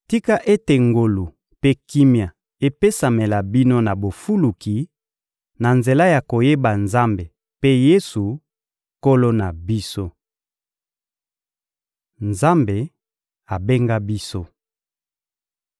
Tika ete ngolu mpe kimia epesamela bino na bofuluki, na nzela ya koyeba Nzambe mpe Yesu, Nkolo na biso! Nzambe abenga biso